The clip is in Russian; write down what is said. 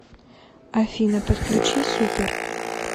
афина подключи супер